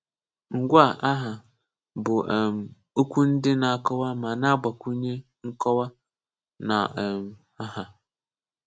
Ngwa aha bu um okwu ndj na akọwa ma na agbakwunye nkọwa na um aha.